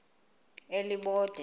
elibode